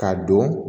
K'a don